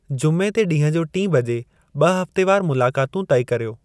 जुमे ते ॾींहं जो टीं बजे ॿ-हफ़्तेवारु मुलाक़ातूं तइ कर्यो।